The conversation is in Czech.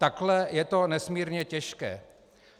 Takhle je to nesmírně těžké.